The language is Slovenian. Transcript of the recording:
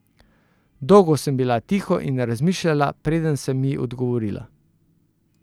Dolgo sem bila tiho in razmišljala, preden sem ji odgovorila.